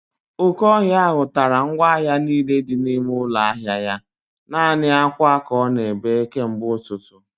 Oke ọhịa ahụ tara ngwa ahịa niile dị n'ime ụlọ ahịa ya. Naanị akwa ka ọ na-ebe kemgbe ụtụtụ